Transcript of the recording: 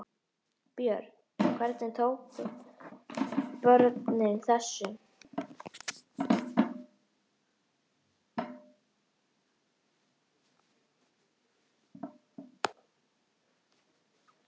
Björn: Hvernig tóku börnin þessu?